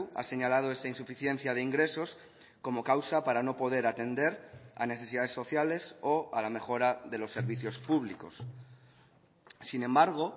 ha señalado esa insuficiencia de ingresos como causa para no poder atender a necesidades sociales o a la mejora de los servicios públicos sin embargo